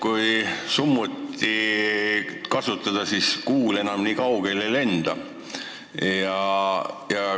Kui summutit kasutada, siis kuul enam nii kaugele ei lenda.